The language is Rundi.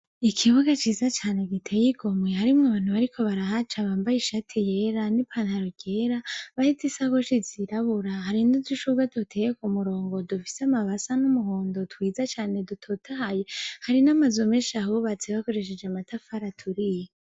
Ikibuga ciza cane giteye igomwe harimwo abantu bariko barahaca bambaye ishati yera n'ipantaro ryera bahetse isakoshi zirabura, hari n'udushurwe duteye ku murongo dufise amababi asa n'umuhondo twiza cane dutotahaye, hari n'amazu menshi ahubatse bakoresheje amatafari aturiye.